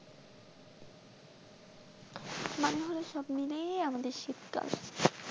মানে সব মিলিয়ে আমাদের শীতকাল